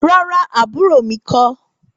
Rárá, àbúrò mi kọ́.